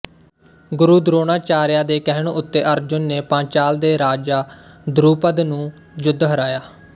ਗੁਰੂ ਦਰੋਣਾਚਾਰਯਾ ਦੇ ਕਹਿਣ ਉੱਤੇ ਅਰਜੁਨ ਨੇ ਪਾਂਚਾਲ ਦੇ ਰਾਜਾ ਦਰੁਪਦ ਨੂੰ ਯੁੱਧ ਹਰਾਇਆ